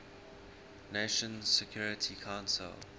nations security council